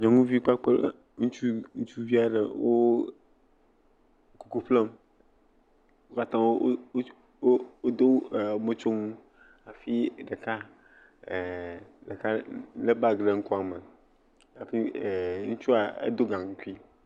Nyɔnuvi kpakple ŋutsuvi aɖe wo koko ƒlem wo katã wo do me mɔtsonu hafi ɖeka ɛɛɛ ɖeka le bag le ŋkuame hafi ŋutsua do gankui.